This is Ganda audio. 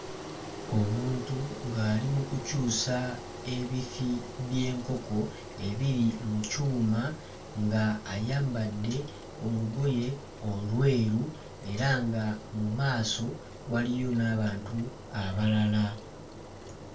Omuntu ng'ali mu kukyusa ebifi by'enkoko ebiri mu kyuma nga ayambadde olugoye olweru era nga mu maaso waliyo n'abantu abalala.